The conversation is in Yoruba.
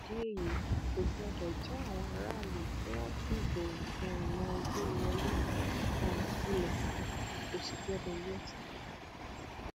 nídìí èyí kò gbọdọ já àwọn aráàlú tí wọn fìbò um wọn gbé e wọlé um kulẹ kó sì gbọdọ yẹsẹ